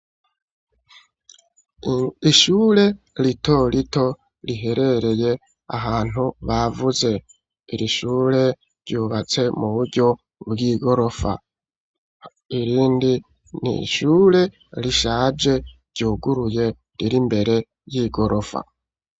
Ishure rito rito riherereye ahantu bavuze irishure ryubatse mu buryo bw'igorofa irindi niishure rishaje ryuguruye riri mbere y'igorofa.